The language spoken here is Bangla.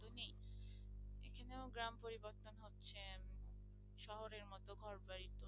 শহরের মতো ঘর বাড়ি